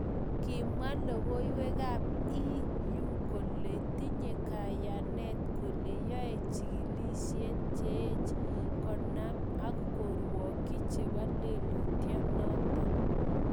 Kimwaa logoiywekab EU kole tinye kayanet kole yae chikilishet cheech konam ak korwokyi chebo lelutyanoton